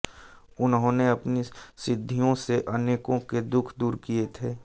उन्होंने अपनी सिद्धियों से अनेकों के दुख दूर किए थे